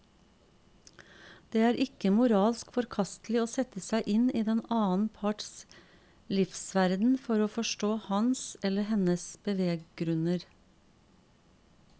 Det er ikke moralsk forkastelig å sette seg inn i den annen parts livsverden for å forstå hans eller hennes beveggrunner.